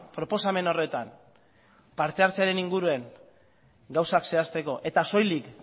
proposamen horretan partehartzearen inguruen gauzak zehazteko eta soilik